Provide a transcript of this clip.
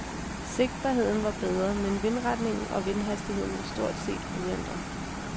Sigtbarheden var bedret, men vindretning og vindhastighed var stort set uændret.